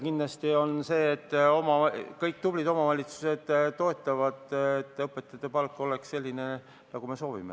Kindlasti on nii, et kõik tublid omavalitsused toetavad seda, et õpetajate palk oleks selline, nagu me soovime.